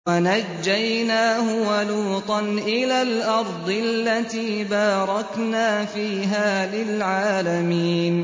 وَنَجَّيْنَاهُ وَلُوطًا إِلَى الْأَرْضِ الَّتِي بَارَكْنَا فِيهَا لِلْعَالَمِينَ